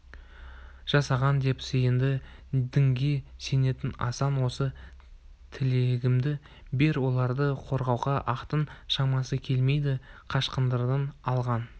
жасаған деп сиынды дінге сенетін асан осы тілегімді бер оларды қорғауға ақтың шамасы келмеді қашқындардан алған